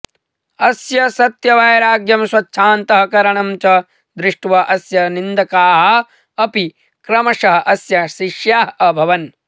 अस्य सत्यवैराग्यं स्वच्छान्तःकरणं च दृष्ट्वा अस्य निन्दकाः अपि क्रमशः अस्य शिष्याः अभवन्